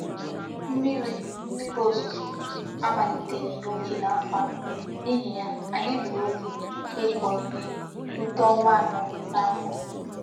Mmiri Mmiri ozuzo amaliteghi n'oge n'afo a, n'ihi ya anyi gburu oge iko ihe rite onwa ano n'afo.